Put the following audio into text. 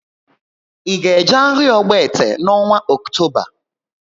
I ga eje áhiá Ogbete n' ọnwa Ọktoba?